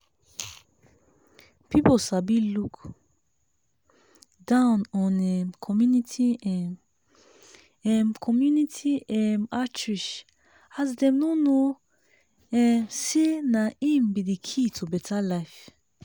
people sabi look down on um community um um community um outreach as dem no know um say na im be the key to better life